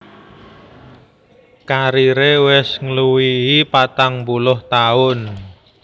Kariré wis ngluwihi patang puluh taun